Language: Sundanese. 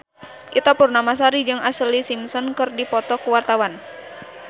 Ita Purnamasari jeung Ashlee Simpson keur dipoto ku wartawan